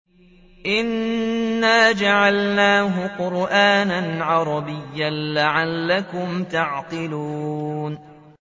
إِنَّا جَعَلْنَاهُ قُرْآنًا عَرَبِيًّا لَّعَلَّكُمْ تَعْقِلُونَ